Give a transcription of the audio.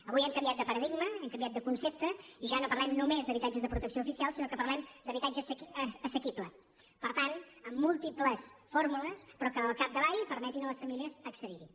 avui hem canviat de paradigma hem canviat de concepte i ja no parlem només d’ habitatges de protecció oficial sinó que parlem d’ habitatge assequible per tant amb múltiples fórmules però que al capdavall permetin a les famílies accedirhi